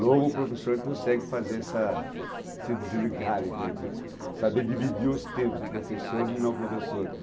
Não o professor consegue fazer essa, se desligar, quer dizer, saber dividir os tempos, o professor e não o professor.